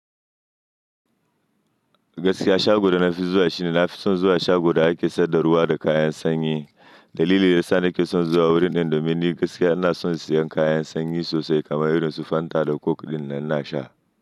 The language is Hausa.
Gaskiya shago da na fi zuwa shine na fi son zuwa shago da ake sai da ruwa da kayan sanyi. Dalili da yasa na ke son zuwa wurin nan domin ni gaskiya ina son siyan kayan sanyi sosai kamar irin su Fanta da coke ɗinnan ina sha.